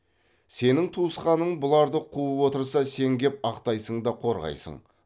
сенің туысқаның бұларды қуып отырса сен кеп ақтайсың да қорғайсың